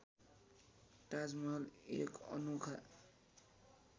ताजमहल एक अनोखा